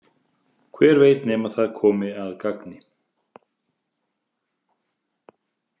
Hver veit nema það komi að gagni?